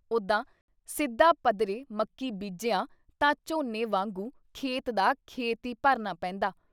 ਉਦਾਂ ਸਿੱਧਾ ਪੱਧਰੇ ਮੱਕੀ ਬੀਜਿਆਂ ਤਾਂ ਝੋਨੇ ਵਾਂਗੂੰ ਖੇਤ ਦਾ ਖੇਤ ਈ ਭਰਨਾ ਪੈਂਦਾ।